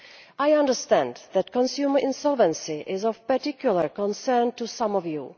I understand that consumer insolvency is of particular concern to some of you.